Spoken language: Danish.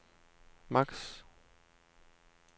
maks